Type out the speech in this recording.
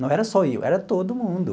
Não era só eu, era todo mundo.